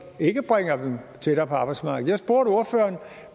ikke bringer dem tættere på arbejdsmarkedet